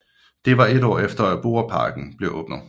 Det var et år efter at Borreparken blev åbnet